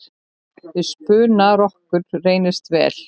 Við spuna rokkur reynist vel.